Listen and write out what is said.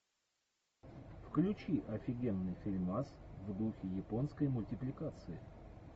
включи офигенный фильмас в духе японской мультипликации